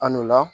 An n'o la